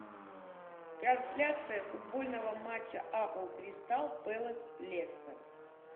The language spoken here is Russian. трансляция футбольного матча апл кристал пэлас лестер